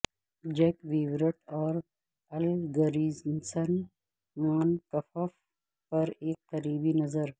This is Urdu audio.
جیک ویورٹ اور الگرنسن مانکفف پر ایک قریبی نظر